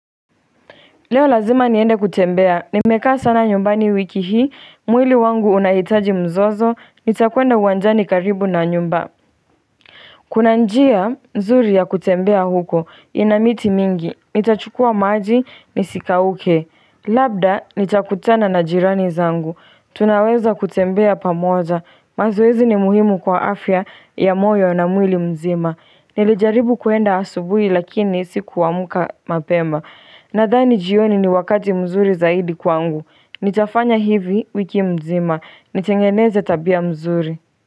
Leo lazima niende kutembea, nimekaa sana nyumbani wiki hii, mwili wangu unahitaji mzozo, nitakuenda uwanjani karibu na nyumba Kuna njia, nzuri ya kutembea huko, inamiti mingi, nitachukua maji, nisika uke. Labda, nitakutana na jirani zangu, tunaweza kutembea pamoja, mazoezi ni muhimu kwa afya ya moyo na mwili mzima Nilijaribu kuenda asubui lakini siku amka mapema. Nadani jioni ni wakati mzuri zaidi kwangu Nitafanya hivi wiki mzima Nitengeneze tabia mzuri.